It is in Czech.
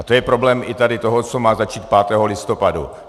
A to je problém i tady toho, co má začít 5. listopadu.